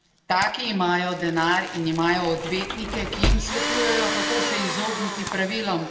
Taki imajo denar in imajo odvetnike, ki jim svetujejo, kako se izogniti pravilom.